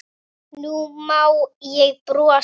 Nú má ég brosa.